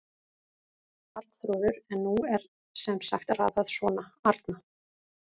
Arnþrúður en nú er sem sagt raðað svona: Arna